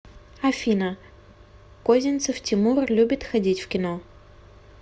афина козинцев тимур любит ходить в кино